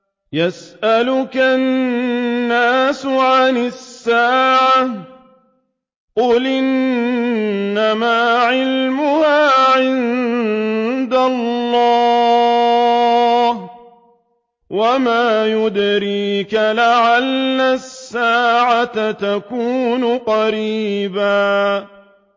يَسْأَلُكَ النَّاسُ عَنِ السَّاعَةِ ۖ قُلْ إِنَّمَا عِلْمُهَا عِندَ اللَّهِ ۚ وَمَا يُدْرِيكَ لَعَلَّ السَّاعَةَ تَكُونُ قَرِيبًا